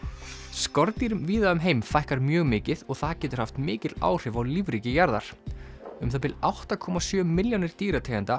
skordýrum víða um heim fækkar mjög mikið og það getur haft mikil áhrif á lífríki jarðar um það bil átta komma sjö milljónir dýrategunda